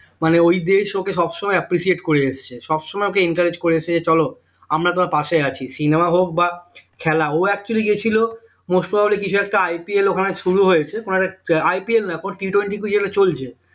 মানে ওই দেশ ওকে সব সময় appreciate করে এসেছে সব সময় ওকে encourage করে আসছে যে চলো আমরা তোমার পাশে আছি cinema হোক বা খেলা ও actually গিয়েছিল most probably কিছু একটা IPL শুরু হয়েছে কোন একটা IPL নয় কোন t twenty চলছে